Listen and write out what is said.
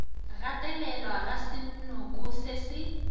gatelelwa ga senoko se se